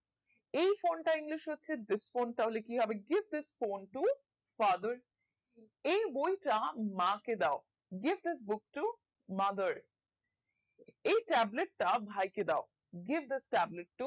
এই phone টার english হচ্ছে this phone তাহলে কিহেৰে This is phone to travel এই বই টা মা কে দাও This is book to mother এই tablets টা ভাই কে দাও Give the tablet to